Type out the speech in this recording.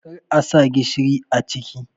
kar a sa gishiri a ciki.!